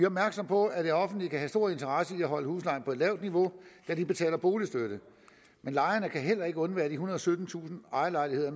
opmærksomme på at det offentlige kan have stor interesse i at holde huslejen på et lavt niveau da de betaler boligstøtte men lejerne kan heller ikke undvære de og syttentusind ejerlejligheder